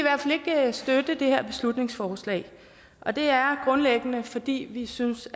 støtte det her beslutningsforslag og det er grundlæggende fordi vi synes